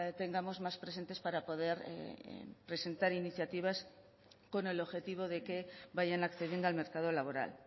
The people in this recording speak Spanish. tengamos más presentes para poder presentar iniciativas con el objetivo de que vayan accediendo al mercado laboral